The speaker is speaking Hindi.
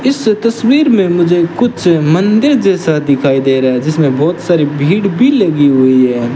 इस तस्वीर में मुझे कुछ मंदिर जैसा दिखाई दे रहा है जिसमें बहोत सारी भीड़ भी लगी हुई है।